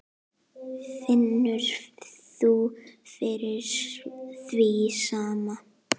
Finnur þú fyrir því sama?